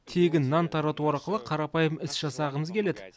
тегін нан тарату арқылы қарапайым іс жасағымыз келеді